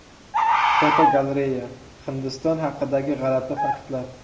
Fotogalereya: Hindiston haqidagi g‘alati faktlar.